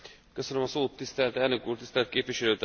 Tisztelt elnök úr, tisztelt képviselőtársaim!